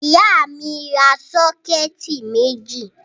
Ìyá mi ra sọ́kẹ́tì méjì.